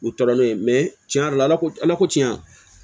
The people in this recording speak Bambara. U tɔɔrɔlen mɛ cɛn yɛrɛ la ala ko ala ko tiɲɛ